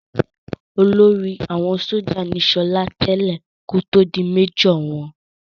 Olórí àwọn sójà ní sọlá tẹ́lẹ̀ kí ó tó di méjọ̀ wọn